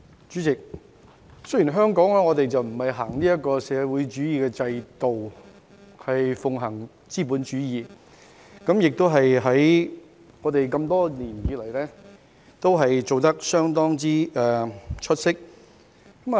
主席，香港不是實行社會主義制度，而是奉行資本主義，多年來也做得相當出色。